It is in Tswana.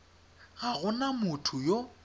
ga go na motho yo